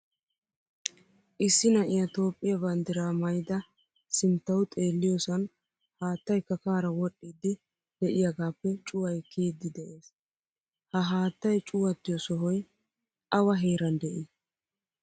Issi na'iyaa toophphiyaa banddiraa maayda sinttawu xeelliyosan haattaay kakkaara wodhdhidi deiayagappe cuway kiyidi de'ees. Ha haattay cuwattiyo sohoy awa heeran dei?